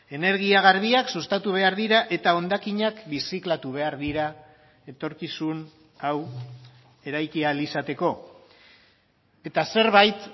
energia garbiak sustatu behar dira eta hondakinak birziklatu behar dira etorkizun hau eraiki ahal izateko eta zerbait